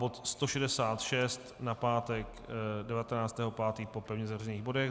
Bod 166 na pátek 19. 5. po pevně zařazených bodech.